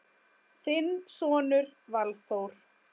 Þinn sonur Valþór.